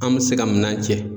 An bɛ se ka minan cɛ.